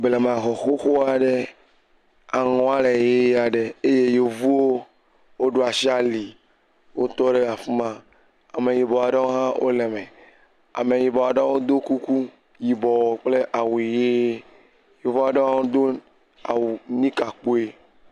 Blemaxɔ xoxo aɖe aŋɔ le ʋie aɖe eye yevuwo woɖo asi ali wotɔ ɖe afi ma. Ame yibɔ aɖewo hã wole eme. Ame yibɔ aɖewo do kuku yibɔ kple awu ʋie. Yevu aɖewo hã do awu nika kpuie.